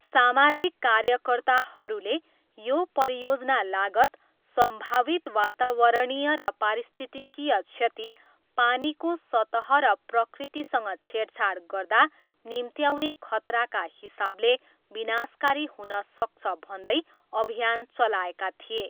सामाजिक कार्यकर्ताहरूले यो परियोजना लागत, सम्भावित वातावरणीय र पारिस्थितिकीय क्षति, पानीको सतह र प्रकृतिसँग छेडछाड गर्दा निम्त्याउने खतराका हिसाबले विनाशकारी हुन सक्छ भन्दै अभियान चलाएका थिए।